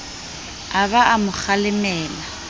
a ba a mo kgalemela